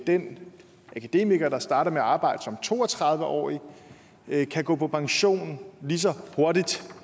den akademiker der starter med at arbejde som to og tredive årig kan gå på pension lige så hurtigt